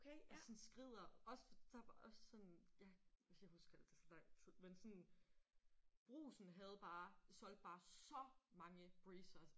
Og sådan skrider. Også der bare også sådan ja jeg kan huske det så lang tid men sådan Brugsen havde bare solgte bare så mange Breezers